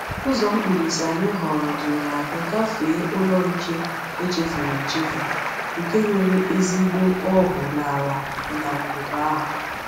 Ụzọ mkpirisi anyị họọrọ duru anyị gafee ụlọ nche echefuru echefu, nke nwere ezigbo ọhụụ n’ala ndagwurugwu ahụ.